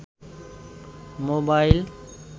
mobile